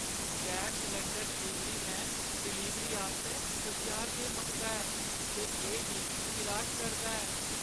Gas cylinder delivery man delivery आस्तै पंजाह् रपेऽ मंगदा ऐ ते एह् मिगी निराश करदा ऐ।